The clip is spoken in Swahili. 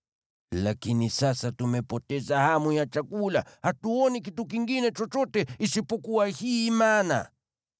Lakini sasa tumepoteza hamu ya chakula; hatuoni kitu kingine chochote isipokuwa hii mana!”